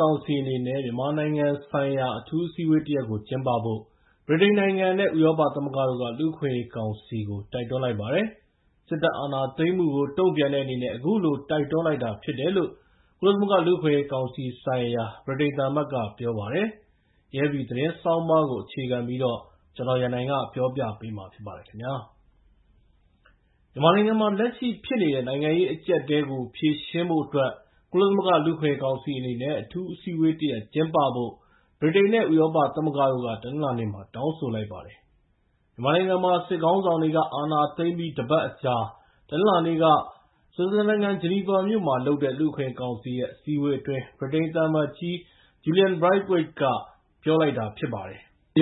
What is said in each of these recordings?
ကောင်စီအနေနဲ့ မြန်မာနိုင်ငံဆိုင်ရာ အထူးအစည်းအဝေးတရပ်ကိုကျင်းပဖို့ ဗြိတိန်နိုင်ငံ နဲ့ ဥရောပသမဂ္ဂတို့က လူ့အခွင့်အရေးကောင်စီကို တိုက်တွန်းလိုက်ပါတယ်။ စစ်တပ်အာဏာသိမ်းမှုကို တုံ့ပြန်တဲ့အနေနဲ့ အခုလို တိုက်တွန်း တောင်းဆိုလိုက်တာဖြစ်တယ်လို့ ကုလသမဂ္ဂလူ့အခွင့်အရေးကောင်စီဆိုင်ရာ ဗြိတိန်သံအမတ်ကပြောပါတယ်။ AFP သတင်းဆောင်းပါးကို အခြေခံပြီးတော့ ကိုရန်နိုင်က ပြောပြပေးမှာဖြစ်ပါတယ်။ မြန်မာနိုင်ငံမှ ာလက်ရှိဖြစ်နေတဲ့ နိုင်ငံရေးအကြပ်အတည်းကို ဖြေရှင်းဖို့အတွက် ကုလသမဂ္ဂလူ့အခွင့်အရေးကောင်စီအနေနဲ့ အထူးအစည်းအဝေးတရပ်ကျင်းပဖို့ ဗြိတိန် နဲ့ ဥရောပသမဂ္ဂတို့က တနင်္လာနေ့မှာ တောင်းဆိုလိုက်ပါတယ်။ မြန်မာနိုင်ငံမှာ စစ်ခေါင်းဆောင်တွေက အာဏာသိမ်းပြီး တပတ်အကြာ တနင်္လာနေ့က ဆွစ်ဇာလန်နိုင်ငံ ဂျနီဗာမြို့မှာ လုပ်တဲ့ လူ့အခွင့်အရေးကောင်စီရဲ့အစည်းအဝေးအတွင်း ဗြိတိန်သံအမတ်ကြီး Julian Braitwaite က ပြောသွားတာဖြစ်ပါတယ်။ “မြ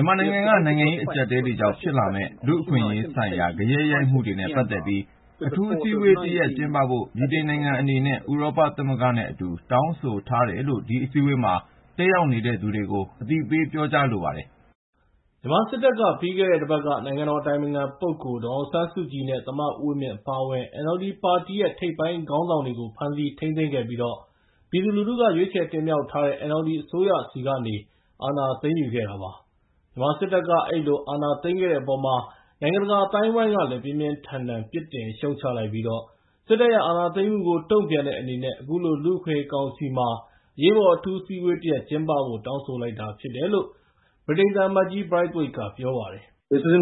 န်မာနိုင်ငံကနိုင်ငံရေးအကြပ်အတည်းတွေကြောင့် ဖြစ်လာမယ့် လူ့အခွင့်အရေးဆိုင်ရာဂယက်ရိုက်ခတ်မှုတွေနဲ့ပတ်သက်ပြီး အထူးအစည်းအဝေးတရပ်ကျင်းပဖို့ ဗြိတိန်နိုင်ငံအနေနဲ့ ဥရောပသမဂ္ဂနဲ့ အတူ တောင်းဆိုထားတယ်လို့ ဒီအစည်းအဝေးမှာ တက်ရောက်နေတဲ့သူတွေကို အသိပေးပြောကြားလိုပါတယ်။” မြန်မာစစ်တပ်က ပြီးခဲ့တဲ့ တပတ်က နိုင်ငံတော်အတိုင်ပင်ခံပုဂ္ဂိုလ်ဒေါ်အောင်ဆန်းစုကြည် နဲ့ သမ္မတဦးဝင်းမြင့်အပါအဝင် NLD ပါတီရဲ့ ထိပ်ပိုင်းခေါင်းဆောင်တွေကို ဖမ်းဆီးထိန်းသိမ်းခဲ့ပြီး ၊ ပြည်သူလူထုက ရွေးချယ်တင်မြှောက်ထားတဲ့ NLD အစိုးရဆီကနေ အာဏာသိမ်းယူခဲ့တာပါ။ မြန်မာစစ်တပ်က အဲဒီလို အာဏာသိမ်းခဲ့တဲ့အပေါ်မှာ နိုင်ငံတကာအသိုင်းအဝိုင်းကလည်း ပြင်းပြင်းထန်ထန် ပြစ်တင်ရှုတ်ချလိုက်ပြီး၊ စစ်တပ်ရဲ့ အာဏာသိမ်းမှုကို တုံ့ပြန်တဲ့အနေနဲ့ အခုလို လူ့အခွင့်အရေးကောင်စီမှာ အရေးပေါ် အထူးအစည်းအဝေးကျင်းပဖို့ တောင်းဆိုတာဖြစ်တယ်လို့ ဗြိတိန်သံအမတ်ကြီး Braithwaite က ပြောပါတယ်။ “မြ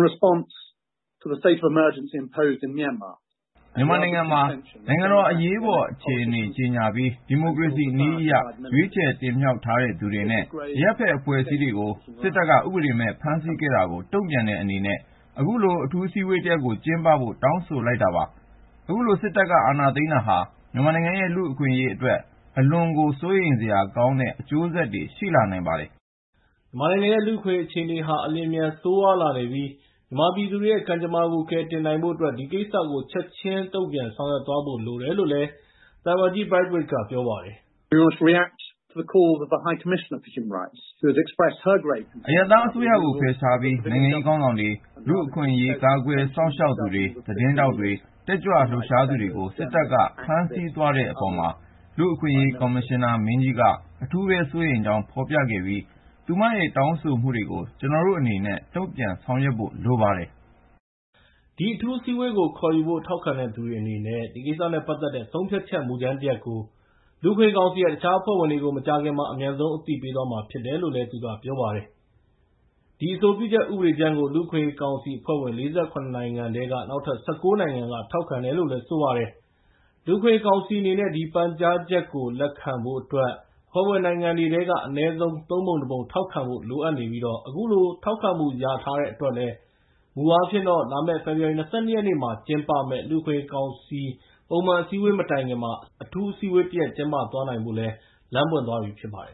န်မာနိုင်ငံမှာ နိုင်ငံတော်အရေးပေါ်အခြေအနေကြေငြာပြီး၊ ဒီမိုကရေစီနည်းအရ ရွေးချယ်တင်မြှောက်ထားတဲ့သူတွေ နဲ့ အရပ်ဖက်အဖွဲ့အစည်းတွေကို စစ်တပ်က ဥပဒေမဲ့ဖမ်းဆီးခဲ့တာကို တုံ့ပြန်တဲ့အနေနဲ့ အခုလို အထူးအစည်းအဝေးတရပ်ကို ကျင်းပဖို့တောင်းဆိုလိုက်တာပါ။ အခုလို စစ်တပ်ကအာဏာသိမ်းတာဟာ မြန်မာနိုင်ငံရဲ့ လူ့အခွင့်အရေးအတွက် အလွန်ကို စိုးရိမ်စရာကောင်းတဲ့ အကျိုးဆက်တွေရှိလာနိုင်ပါတယ်။” မြန်မာနိုင်ငံရဲ့ လူ့အခွင့်အရေး အခြေအနေဟာ အလျှင်အမြန်ကို ဆိုးရွားလာနေပြီး၊ မြန်မာပြည်သူတွေရဲ့ ကံကြမ္မာကိုကယ်တင်နိုင်ဖို့အတွက် ဒီကိစ္စကို ချက်ချင်းတုံ့ပြန်ဆောင်ရွက်သွားဖို့လိုတယ်လို့ Braithwaite က ပြောလိုက်ပါတယ်။ “အရပ်သားအစိုးရကိုဖယ်ရှားပြီး၊ နိုင်ငံရေးခေါင်းဆောင်တွေ၊ လူ့အခွင့်အရေးကာကွယ်စောင့်ရှောက်သူတွေ၊ သတင်းထောက်တွေ၊ တက်ကြွလှုပ်ရှားသူတွေကို စစ်တပ်က ဖမ်းဆီးသွားတဲ့အပေါ်မှာ လူ့အခွင့်အရေးကော်မရှင်နာမင်ကြီးက အထူးပဲ စိုးရိမ်ကြောင်း ဖော်ပြခဲ့ပြီး၊ သူမရဲ့ တောင်းဆိုမှုတွေကို ကျနော်တို့ အနေနဲ့ ုတုံံ့ပြန်ဆောင်ရွက်ဖို့လိုပါတယ်။” ဒီအထူးအစည်းဝေးကိုခေါ်ယူဖို့ ထောက်ခံသူတွေအနေနဲ့ ဒီကိစ္စနဲ့ပတ်သက်တဲ့ ဆုံးဖြတ်ချက်မူကြမ်းတရပ်ကို လူ့အခွင့်အရေးကောင်စီရဲ့ တခြားအဖွဲ့အဝင်တွေကို မကြာခင်မှာ အမြန်ဆုံးအသိပေးသွားမှာဖြစ်တယ်လို့ သူကပြောပါတယ်။ ဒီအဆိုပြုချက်ဥပဒေကြမ်းကို လူအခွင့်အရေကောင်စီအဖွဲ့ဝင် ၄၇ နိုင်ငံထဲက နောက်ထပ် ၁၉ နိုင်ငံလည်း ထောက်ခံတယ်လို့ ပြောပါတယ်။ လူ့အခွင့်အရေးကောင်စီအနေနဲ့ ဒီပန်ကြားချက်ကို လက်ခံဖို့အတွက် အဖွဲ့ဝင်နိုင်ငံတွေထဲက အနည်းဆုံး ၃ ပုံ ၁ ပုံ ထောက်ခံဖို့လိုအပ်ပြီး၊ အခုလို ထောက်ခံမှုရထားတဲ့အတွက် မူအားဖြင့်တော့ ၊လာမယ့် ဖေဖော်ဝါရီ ၂၂ ရက်နေ့မှာ ကျင်းပမယ့် လူအခွင့်အရေးကောင်စီပုံမှန်အစည်ညအဝေးမတိုင်ခင် အထူးအစည်းအဝေးတရပ်ကို ကျင်းပသွားနိုင်ဖို့ လမ်းပွင့်သွားပြီဖြစ်ပါတယ်